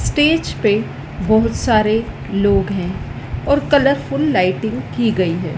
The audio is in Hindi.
स्टेज पे बहुत सारे लोग हैं और कलरफुल लाइटिंग की गई है।